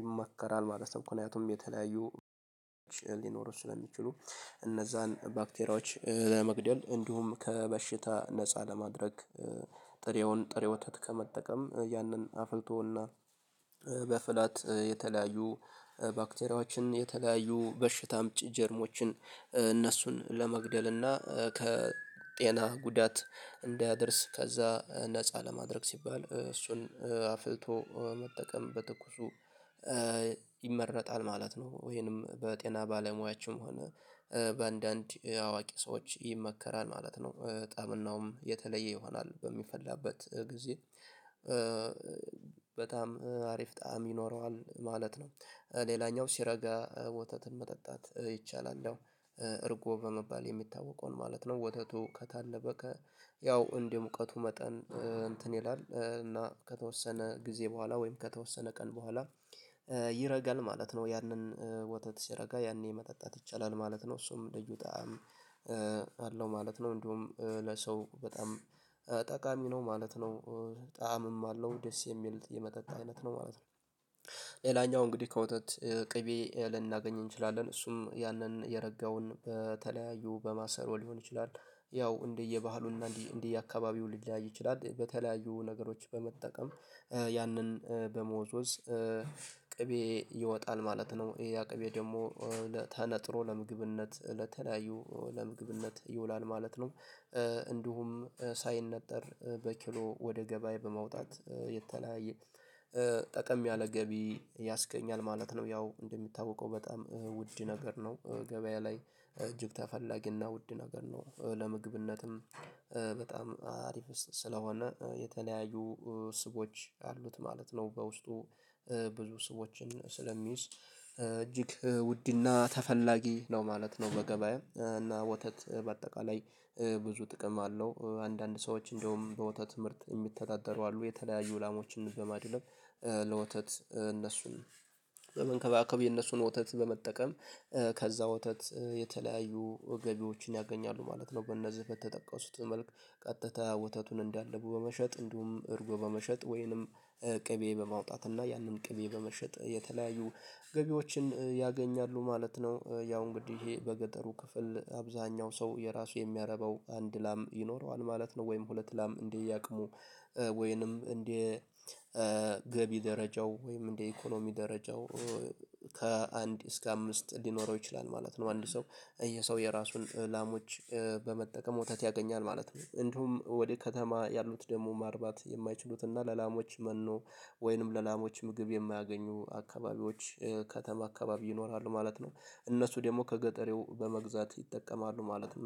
ይመከራል ማለት ነው። ምክንያቱም የተለያዩ ሊኖሩ ስለሚችሉ እነዛን ባክቴሪያዎች ለመግደል እንዲሁም ከበሽታ ነፃ ለማድረግ። ጥሬውን ጥሬ ወተት ከመጠቀም ያንን አፍልቶና በፍላት የተለያዩ ባክቴሪያዎችን የተለያዩ በሽታ አምጪ ጀርሞችን እነሱን ለመግደል እና ከጤና ጉዳት እንዳያደርስ ከዛ ነፃ ለማድረግ ሲባል እሱን አፍልቶ መጠቀም በትኩሱ። ይመረጣል ማለት ነው ወይንም በጤና ባለሙያዎችም ሆነ በአንዳንድ አዋቂ ሰዎች ይመከራል ማለት ነው። ጣምናውም የተለየ ይሆናል በሚፈላበት ጊዜ። በጣም አሪፍ ጣዕም ይኖረዋል ማለት ነው። ሌላኛው ሲረጋ ወተትን መጠጣት ይቻላል። እርጎ በመባል የሚታወቀውን ማለት ነው ወተቱ ከታለበ ከ ያው እንደ ሙቀቱ መጠን እንትን ይላል እና ከተወሰነ ጊዜ በኋላ ወይም ከተወሰነ ቀን በኋላ ይረጋል ማለት ነው። ያንን ወተት ሲረጋ ያኔ መጠጣት ይቻላል ማለት ነው። እሱም ልዩ ጣዕም አለው ማለት ነው። እንደውም ለሰው በጣም ጠቃሚ ነው ማለት ነው። ጣዕምም አለው ደስ የሚል የመጠጥ አይነት ነው ማለት ነው። ሌላኛው እንግዲህ ከወተት ቅቤ ልናገኝ እንችላለን እሱም ያንን የረጋውን በተለያዩ በማሰሮ ሊሆን ይችላል። ያው እንደየባህሉና እንደየአካባቢው ሊለያይ ይችላል በተለያዩ ነገሮች በመጠቀም ያንን በመወዝወዝ። ቅቤ ይወጣል ማለት ነው ያቅቤ ደግሞ ተነጥሮ ለምግብነት ለተለያዩ ለምግብነት ይውላል ማለት ነው። እንዲሁም ሳይነጠር በኪሎ ወደ ገበያ በማውጣት የተለያየ ጠቀም ያለ ገቢ ያስገኛል ማለት ነው። ያው እንደሚታወቀው በጣም ውድ ነገር ነው ገበያ ላይ እጅግ ተፈላጊና ውድ ነገር ነው ለምግብነትም። በጣም አሪፍ ስለሆነ የተለያዩ ስቦች አሉት ማለት ነው በውስጡ ብዙ ስቦችን ስለሚይዝ እጅግ ውድና ተፈላጊ ነው ማለት ነው። በገበያ እና ወተት በአጠቃላይ። ብዙ ጥቅም አለው አንዳንድ ሰዎች እንደውም በወተት ምርት የሚተዳደሩ አሉ የተለያዩ ላሞችን በማድለብ ለወተት እነሱን በመንከባከብ የነሱን ወተት በመጠቀም ከዛ ወተት የተለያዩ ገቢዎችን ያገኛሉ ማለት ነው። በእነዚህ በተጠቀሱት መልክ ቀጥታ ወተቱን እንዳለቡ በመሸጥ እንዲሁም እርጎ በመሸጥ ወይንም ቅቤ በማውጣት እና ያንን ቅቤ በመሸጥ የተለያዩ ገቢዎችን ያገኛሉ ማለት ነው። ያው እንግዲህ ይሄ በገጠሩ ክፍል አብዛኛው ሰው የራሱ የሚያረባው አንድ ላም ይኖረዋል ማለት ነው። ወይም ሁለት ላም እንደየአቅሙ ወይንም እንደ ገቢ ደረጃው ወይም እንደ ኢኮኖሚ ደረጃው ከአንድ እስከ አምስት ሊኖረው ይችላል ማለት ነው። አንድ ሰው ይሄ ሰው የራሱን ላሞች በመጠቀም ወተት ያገኛል ማለት ነው። እንድሁም ወደ ከተማ ያሉት ደግሞ ማርባት የማይችሉት እና ለላሞች መኖ ወይንም ለላሞች ምግብ የማያገኙ አካባቢዎች ከተማ አካባቢ ይኖራሉ ማለት ነው። እነሱ ደግሞ ከገጠሬው በመግዛት ይጠቀማሉ ማለት ነው